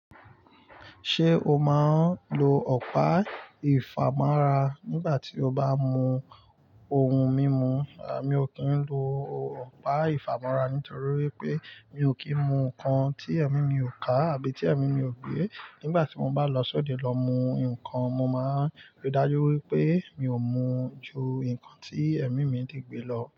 Ṣé o máa ń lo ọ̀pá ìfàmọ́ra nígbà tí o bá mú ohun mímu? Rárá, mi ò kí ń lo ọ̀pá ìfàmọ́ra nítorí wípé mi ò kí ń mu ǹkan tí èmi mi ò ká àbí tí èmi mi ò gbẹ. Nígbà tí mo bá lọ sóde lọ mú ǹkan, mo máa ríi dájú wípé mi ò mú ju ǹkan tí èmi mi di gbẹ lọ.